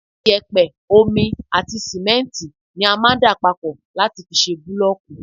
iyẹ̀pẹ̀, omi àti sìmẹ́ntì ni a máà ń dà papọ̀ láti fi ṣe bulooku